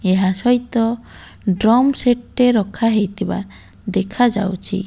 ଏହା ସହିତ drum set ଟେ ରଖା ହେଇଥିବା ଦେଖାଯାଉଚି।